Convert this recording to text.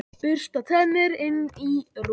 Bursta tennur, inn í rúm.